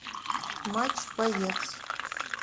матч боец